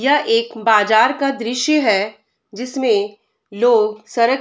यह एक बाजार का दृश्य है जिसमे लोग सरक --